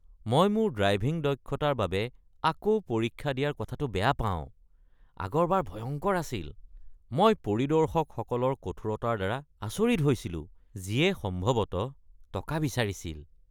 মই মোৰ ড্ৰাইভিং দক্ষতাৰ বাবে আকৌ পৰীক্ষা দিয়াৰ কথাটো বেয়া পাওঁ। আগৰবাৰ ভয়ংকৰ আছিল। মই পৰিদৰ্শকসকলৰ কঠোৰতাৰ দ্বাৰা আচৰিত হৈছিলো যিয়ে সম্ভৱতঃ টকা বিচাৰিছিল।